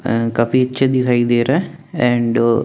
काफी अच्छे दिखाई दे रहा है और एंड --